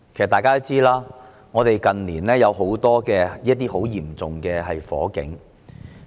大家也知道，香港近年發生了多宗嚴重火警。